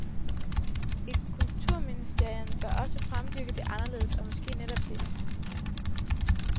Et kulturministerium bør også fremdyrke det anderledes, og måske netop det.